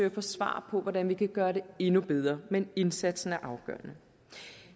at få svar på hvordan vi kan gøre det endnu bedre men indsatsen er afgørende